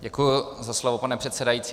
Děkuji za slovo, pane předsedající.